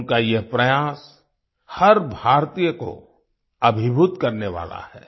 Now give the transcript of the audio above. उनका यह प्रयास हर भारतीय को अभिभूत करने वाला है